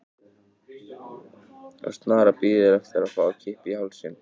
Og snaran bíður eftir að fá að kippa í hálsinn sem hún heldur um.